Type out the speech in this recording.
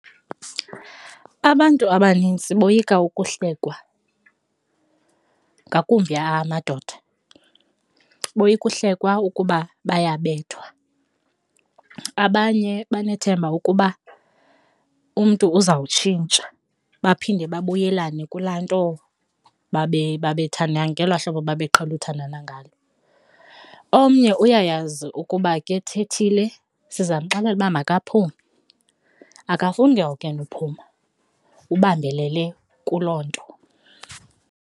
Abantu abanintsi boyika ukuhlekwa ngakumbi amadoda, boyika uhlekwa ukuba bayabethwa, abanye banethemba ukuba umntu uzawutshintsha baphinde babuyelane kulaa nto babe babethanda ngelaa hlobo babeqhele uthandana ngalo. Omnye uyayazi ukuba ke thethile siza mxelele uba makaphume, akafuni ke ngoku yena uphuma ubambelele kuloo nto.